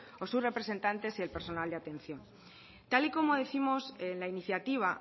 y sus representantes o el personal de atención tal y como décimos en la iniciativa